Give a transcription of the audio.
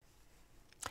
DR2